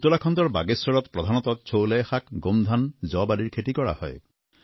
উত্তৰাখণ্ডৰ বাগেশ্বৰত প্ৰধানতঃ ছোলাই গমধান আদিৰ খেতি কৰা হয়